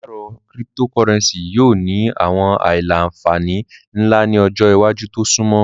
Paṣipaarọ Cyptocurrency yoo ni awọn aila-nfani nla ni ọjọ iwaju to sunmọ